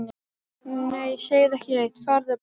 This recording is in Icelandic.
Nei, segðu ekki neitt, farðu bara.